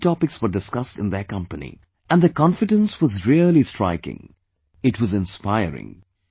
Many topics were discussed in their company and their confidence was really striking it was inspiring